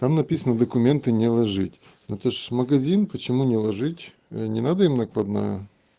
там написано документы не ложить но это ж магазин почему не ложить не надо им накладную